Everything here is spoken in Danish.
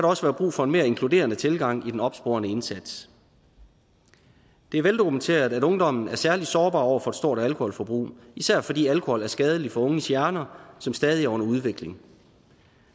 også være brug for en mere inkluderende tilgang i den opsporende indsats det er veldokumenteret at ungdommen er særlig sårbar over for et stort alkoholforbrug især fordi alkohol er skadelig for unges hjerner som stadig er under udvikling